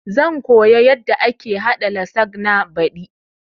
Zan koya yanda ake haɗa lasagna baɗi